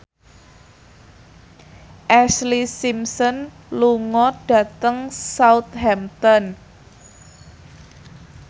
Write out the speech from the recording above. Ashlee Simpson lunga dhateng Southampton